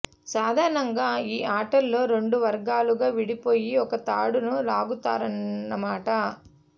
సాధారణంగా ఈ ఆటలో రెండు వర్గాలుగా విడిపోయి ఒక తాడును లాగుతారన్నమాట